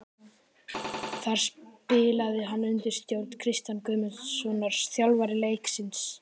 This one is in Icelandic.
Þar spilaði hann undir stjórn Kristjáns Guðmundssonar, þjálfara Leiknis.